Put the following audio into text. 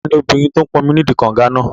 Tani obìnrin tó n pọnmi náà nídi kànga náà?